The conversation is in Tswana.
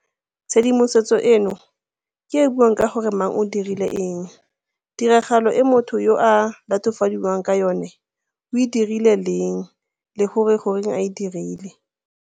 Tshedimosetso eno ke e e buang ka gore mang o dirile eng, tiragalo e motho yo a latofadiwang ka yona o e dirile leng le gore goreng a e dirile.